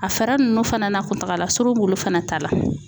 A fɛɛrɛ ninnu fana n'a kuntagala surun b'olu fana ta la .